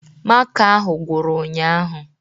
Maka ahụ gwụrụ ụnyaahụ